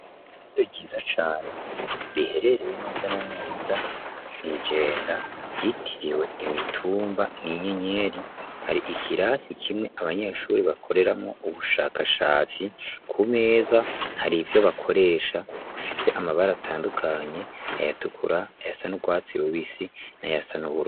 Iido ryiza cane riherereye neza na neza mw'ijenda ryitiriwe imitumba n'inyenyeri hari ikirasi kimwe abanyeshuri bakoreramwo ubushakashatsi ku meza hari ivyo bakoresha fise amabari atandukanye ayatukura ayasani urwatsirubisi na yasa nubura.